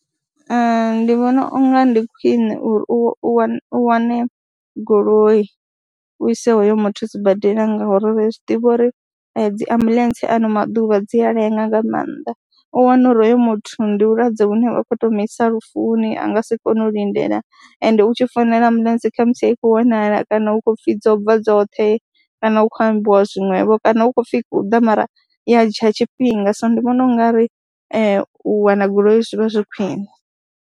Ee, ndi vhona unga ndi khwine uri u wane u wane goloi u ise hoyo muthu sibadela ngauri ri zwi ḓivha uri dzi ambuḽentse ano maḓuvha dzi a lenga nga maanḓa, u wane uri hoyo muthu ndi vhulwadze vhune vhu khou tou mu isa lufuni, a nga si kone u lindela ende u tshi founela ambuḽentse kha musi a i khou wanala kana hu khou pfhi dzo bva dzoṱhe kana hu khou ambiwa zwiṅwevho kana hu khou pfhi hu ḓa mara ya dzhia tshifhinga, so ndi vhona u nga ri u wana goloi zwi vha zwi khwine.